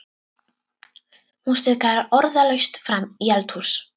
Hún stikaði orðalaust fram í eldhús.